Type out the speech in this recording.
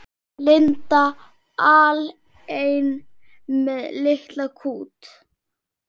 Linda alein með litla kút.